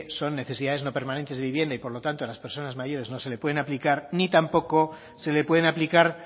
son necesidades no permanentes de vivienda y por lo tanto a las personas mayores no se le pueden aplicar ni tampoco se le pueden aplicar